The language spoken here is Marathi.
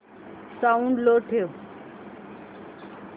साऊंड लो ठेव